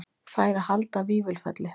Fær að halda Vífilfelli